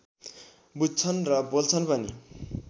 बुझ्छन् र बोल्छन् पनि